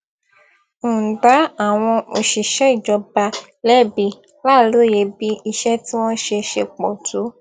ń dá àwọn òṣìṣẹ ìjọba lẹbi láìlóye bí iṣẹ tí wọn ń ṣe ṣe pọ tó